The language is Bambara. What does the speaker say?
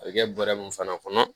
A bɛ kɛ bɔrɛ mun fana kɔnɔ